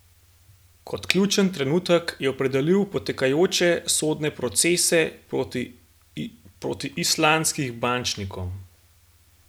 Kot ključen trenutek je opredelil potekajoče sodne procese proti islandskih bančnikom.